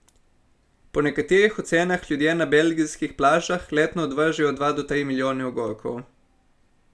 Po nekaterih ocenah ljudje na belgijskih plažah letno odvržejo od dva do tri milijone ogorkov.